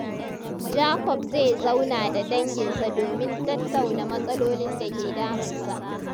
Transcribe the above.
Jacob zai zauna da danginsa domin tattauna matsalolin da ke damunsa.